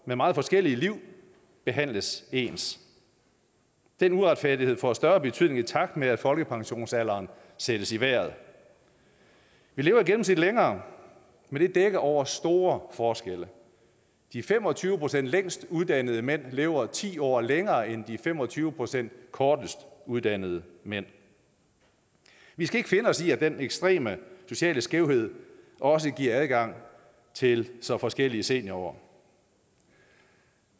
med meget forskellige liv behandles ens den uretfærdighed får større betydning i takt med at folkepensionsalderen sættes i vejret vi lever i gennemsnit længere men det dækker over store forskelle de fem og tyve procent længst uddannede mænd lever ti år længere end de fem og tyve procent kortest uddannede mænd vi skal ikke finde os i at den ekstreme sociale skævhed også giver adgang til så forskellige seniorår